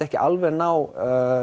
ekki alveg ná